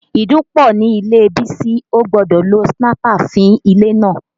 Ìdun pọ̀ nílé Bísí, ó gbọ́dọ̀ lo sniper fí ilé náà